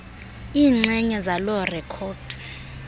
iinxenye zaloo rekhodi